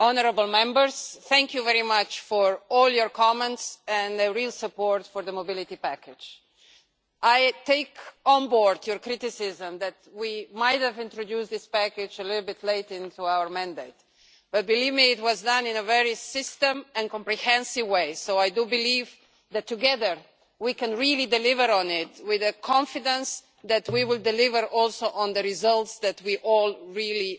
Mr President, honourable Members, thank you very much for all your comments and the real support for the Mobility Package. I take on board your criticism that we might have introduced this package a little bit late into our mandate but, believe me, it was done in a very systematic and comprehensive way, so I do believe that together we can really deliver on it, with the confidence that we will also deliver on the results, and we are all really